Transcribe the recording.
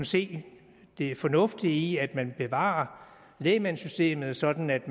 se det fornuftige i at man bevarer lægmandssystemet sådan at